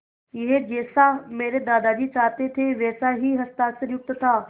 यह जैसा मेरे दादाजी चाहते थे वैसा ही हस्ताक्षरयुक्त था